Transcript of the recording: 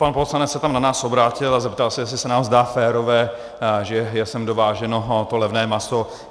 Pan poslanec se tam na nás obrátil a zeptal se, jestli se nám zdá férové, že je sem dováženo to levné maso.